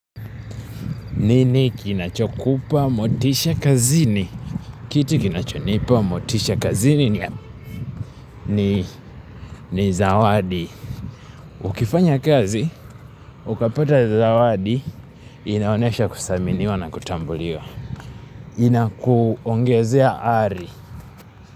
Nini kinachokupa, motisha kazini. Kitu kinachonipa, motisha kazini ni zawadi. Ukifanya kazi, ukapata zawadi, inaonyesha kuthaminiwa na kutambuliwa. Inakuongezea ari.